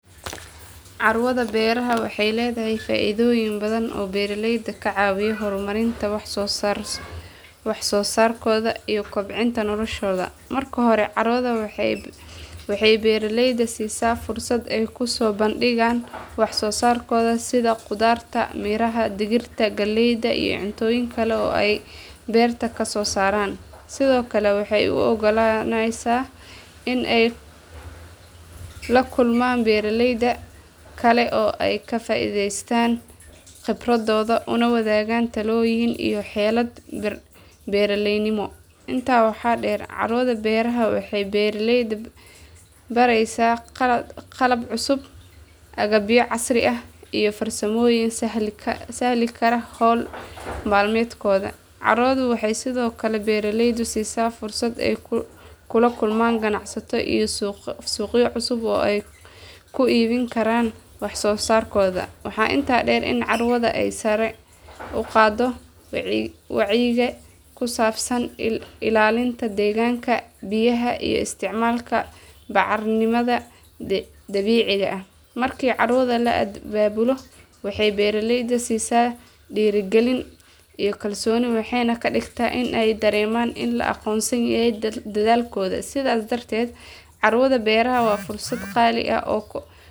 Carwada beeraha waxay leedahay faa’iidooyin badan oo beeraleyda ka caawiya horumarinta wax soo saarkooda iyo kobcinta noloshooda. Marka hore carwadu waxay beeraleyda siisaa fursad ay ku soo bandhigaan wax soo saarkooda sida khudaarta, miraha, digirta, galeyda iyo cuntooyin kale oo ay beerta ka soo saaraan. Sidoo kale waxay u oggolaanaysaa in ay la kulmaan beeraley kale oo ay ka faa’iidaystaan khibradooda una wadaagaan talooyin iyo xeelado beeraleynimo. Intaa waxaa dheer carwada beeraha waxay beeraleyda baraysaa qalab cusub, agabyo casri ah iyo farsamooyin sahli kara hawl maalmeedkooda. Carwadu waxay sidoo kale beeraleyda siisaa fursad ay kula kulmaan ganacsato iyo suuqyo cusub oo ay ku iibin karaan wax soo saarkooda. Waxaa intaa dheer in carwada ay sare u qaaddo wacyiga ku saabsan ilaalinta deegaanka, biyaha iyo isticmaalka bacriminta dabiiciga ah. Markii carwada la abaabulo waxay beeraleyda siisaa dhiirigelin iyo kalsooni waxayna ka dhigtaa in ay dareemaan in la aqoonsan yahay dadaalkooda. Sidaas darteed carwada beeraha waa fursad qaali ah oo.